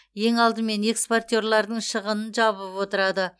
ең алдымен экспортерлардың шығынын жабылып отырады